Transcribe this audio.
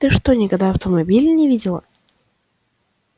ты что никогда автомобилей не видела